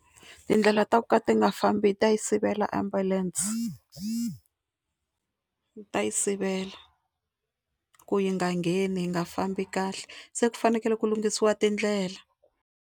Tindlela ta ku ka ti nga fambi ta yi sivela ambulance ta yi sivela ku yi nga ngheni yi nga fambi kahle se ku fanekele ku lunghisiwa tindlela.